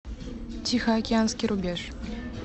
тихоокеанский рубеж